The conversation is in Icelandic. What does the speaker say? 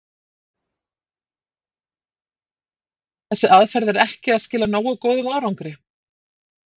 Og ykkar mat er að þessi aðferð er ekki að skila nógu góðum árangri?